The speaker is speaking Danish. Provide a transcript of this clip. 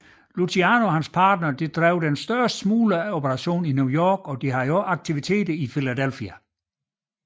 Luciano og hans partnere drev den største smulgeroperation i New York og havde også aktiviteter i Philadelphia